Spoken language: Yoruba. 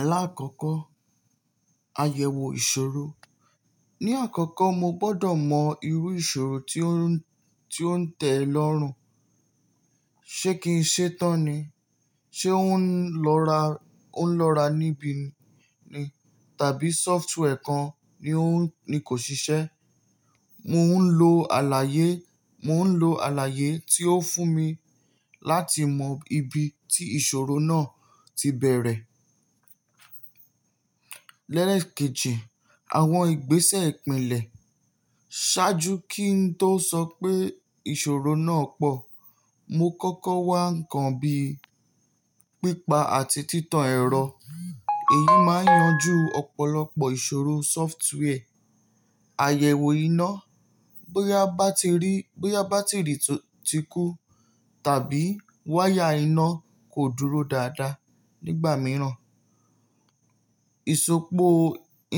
Alákọ̀ọ́kọ́, àyẹ̀wò ìṣòro. Ni àkọ́kọ́ mo gbọdọ̀ mọ irú ìṣòro tí ó ń tẹ lọ́rùn. Ṣé kì í ṣe tán ni? Ṣé ó ń lọ́ra níbi ni? Tàbí software kan ni o, ni kò ṣiṣẹ́? Mò ń lo àlàyé, mo n lo alaye tí ó fún mi láti mọ ibi tí ìṣòro náà tí bẹ̀erẹ̀. Lẹ́le kejì, àwọn ìgbésẹ̀ ìpìnlẹ̀. Ṣáájú kí n tó sọ pé ìṣòro náà pọ̀, mo kọ́kọ́ wá ǹkan bí pípa àti títan ẹ̀rọ. Èyí máa yanjú ọ̀pọ̀lọpọ̀ ìṣòro software. Àyẹ̀wò iná. Bóyá bátìrì tí kú tàbí wáyà iná kò dúró dáadáa nígbà mìíràn. Isopọ̀